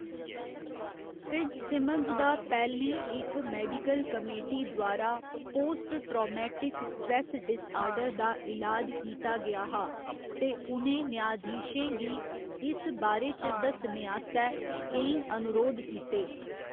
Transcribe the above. Fitzsimmons दा पैह्‌लें इक मेडिकल कमेटी द्वारा पोस्ट ट्रामेटिक स्ट्रैस डिसआर्डर दा ईलाज कीता गेआ हा ते उ'नें न्यायधीशें गी इस बारे च दस्सने आस्तै केईं अनुरोध कीते।